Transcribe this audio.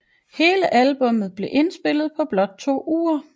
Hele albummet blev indspillet på blot to uger